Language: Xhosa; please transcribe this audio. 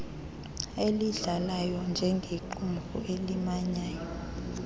eyidlalayo njengequmrhu elimanyayo